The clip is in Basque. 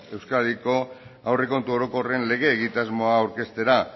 euskadiko aurrekontu orokorren lege egitasmoa aurkeztera